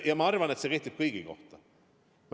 Ja ma arvan, et see kehtib kõigi kohta.